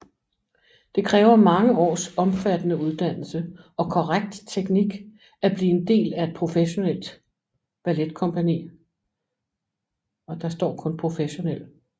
Det kræver mange års omfattende uddannelse og korrekt teknik at blive en del af et professionel balletkompagni